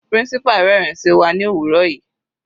Principal rẹ́rin sí wa ní òwúrọ̀ yìí.